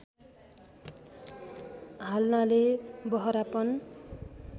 हाल्नाले बहरापन